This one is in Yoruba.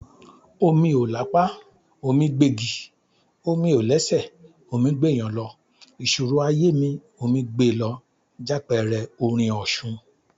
"Omi ò lápá, omí gbégi, omi ò lẹ́sẹ̀, omí gbéèyàn lọ, ìṣòro ayé mi, omí gbe lọ," jápẹẹrẹ orin Òṣun.